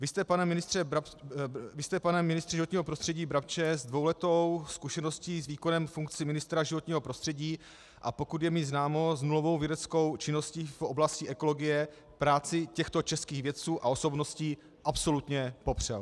Vy jste, pane ministře životního prostředí Brabče, s dvouletou zkušeností z výkonu funkce ministra životního prostředí, a pokud je mi známo, s nulovou vědeckou činností v oblasti ekologie práci těchto českých vědců a osobností absolutně popřel.